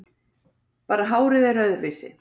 Bara hárið er öðruvísi.